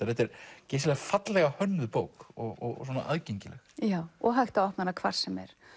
þetta er geysilega fallega hönnuð bók og aðgengileg já og hægt að opna hvar sem er